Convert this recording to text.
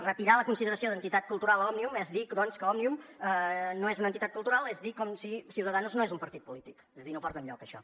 retirar la consideració d’entitat cultural a òmnium és dir doncs que òmnium no és una entitat cultural és dir com si ciudadanos no és un partit polític és a dir no porta enlloc això